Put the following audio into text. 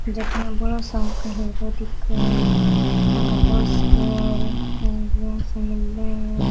जाका बड़ो सार का हीरो दिखे उनका पोस्टर मिले है।